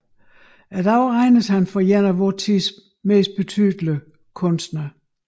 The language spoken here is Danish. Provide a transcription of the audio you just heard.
I dag regnes han for een af vor tids betydeligste kunstnere